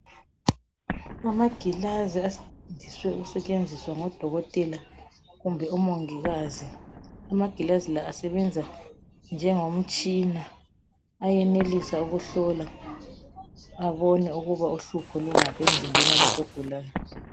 Amagilazi asetshenziswa ngadokotela kumbe umungikazi. Amagilazi la asebenza njengomtshina. Ayenelisa ukuhlola abone ukuba uhlupho lungaphi emzimbe yomuntu ogulayo.